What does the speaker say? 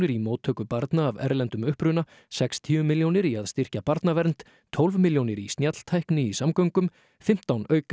í móttöku barna af erlendum uppruna sextíu milljónir í að styrkja Barnavernd tólf milljónir í snjalltækni í samgöngum fimmtán